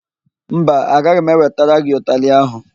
Mba, agaghị m ewetara gị ụtalị áhụ̀.